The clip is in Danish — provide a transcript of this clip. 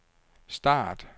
start